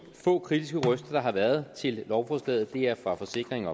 få kritiske røster der har været til lovforslaget er fra forsikring